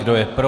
Kdo je pro?